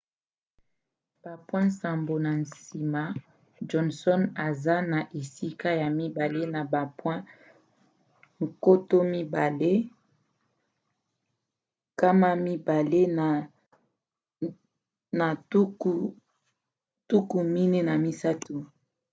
bapoint nsambo na nsima johnson aza na esika ya mibale na bapoint 2 243